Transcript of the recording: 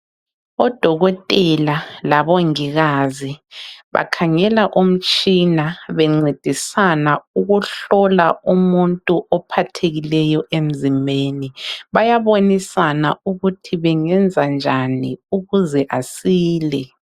Odokotela labongikazi bakhangela umtshina bencedisana ukuhlola umuntu ophathekileyo emzimbeni. Bayabonisana ukuthi bengenzanjani ukuze asile.